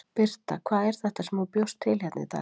Birta: Hvað er þetta sem þú bjóst til hérna í dag?